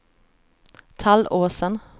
Tallåsen